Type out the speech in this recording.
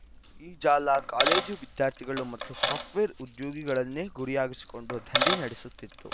ಈ ಜಾಲ ಕಾಲೇಜು ವಿದ್ಯಾರ್ಥಿಗಳು ಮತ್ತು ಸಾಫ್ಟ್‌ವೇರ್‌ ಉದ್ಯೋಗಿಗಳನ್ನೇ ಗುರಿಯಾಗಿಸಿಕೊಂಡು ದಂಧೆ ನಡೆಸುತ್ತಿತ್ತು